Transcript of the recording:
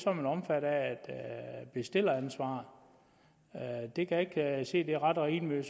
bestilleransvar men det kan jeg ikke se er ret og rimeligt